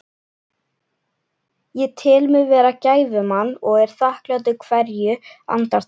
Ég tel mig vera gæfumann og er þakklátur hverju andartaki.